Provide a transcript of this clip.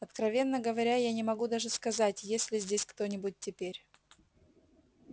откровенно говоря я не могу даже сказать есть ли здесь кто-нибудь теперь